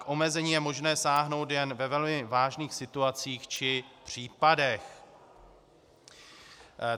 K omezení je možné sáhnout jen ve velmi vážných situacích či případech.